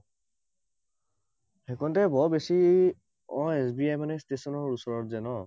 সেই কনতে অ বৰ বেছি অ এছ বি আই মানে ষ্টেচনৰ ওচৰত যে ন?